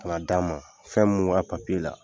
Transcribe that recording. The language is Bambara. A m'a d'a ma, fɛn mun b'a papiye la,